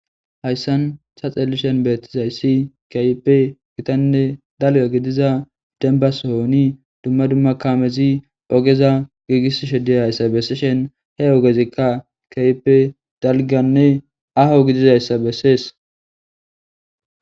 Hayssan shaxelishen beetizayssi kaype gitanne dalga gidiza denbas hooni dumma dumma kamezi ogeza giigis sheddi hayssa besseshen he ogezikka kaype dalganne aho gidizayssa bessees.